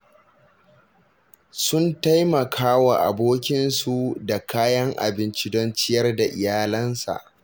Sun taimaka wa abokinsu da kayan abinci don ya ciyar da iyalansa